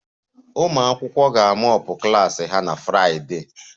Ụmụ akwụkwọ ga mop ha klas na Friday